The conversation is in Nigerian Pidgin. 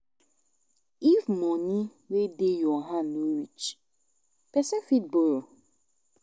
If money wey dey your hand no reach, person fit borrow